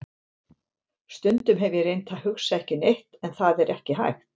Stundum hef ég reynt að hugsa ekki neitt en það er ekki hægt.